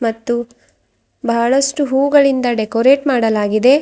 ಮತ್ತು ಬಹಳಷ್ಟು ಹೂ ಗಳಿಂದ ಡೆಕೋರೇಟ್ ಮಾಡಲಾಗಿದೆ.